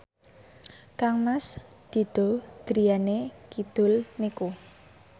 kangmas Dido griyane kidul niku